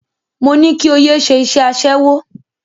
Mo ní kí o yé ṣe iṣẹ́ aṣẹ́wó.